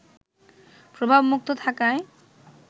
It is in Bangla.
প্রভাবমুক্ত থাকায়